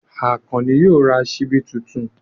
Àkànní yóò ra ṣíbí tuntun.